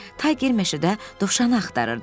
Bu zaman Tayger meşədə dovşanı axtarırdı.